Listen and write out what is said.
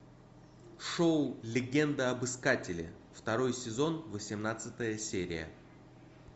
шоу легенда об искателе второй сезон восемнадцатая серия